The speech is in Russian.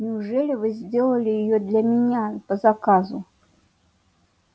неужели вы делали её для меня по заказу